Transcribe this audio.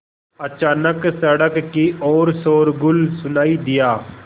अचानक सड़क की ओर शोरगुल सुनाई दिया